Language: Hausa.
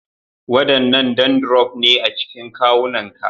Wadannan dandrof ne a cikin kawunanka